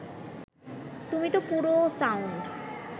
তুমি তো পুরো সাউন্ড